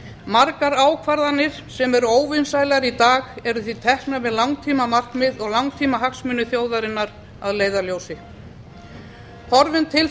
margar ákvarðanir sem eru óvinsælar í dag eru því teknar með langtímamarkmið og langtímahagsmuni þjóðarinnar að leiðarljósi horfum til þess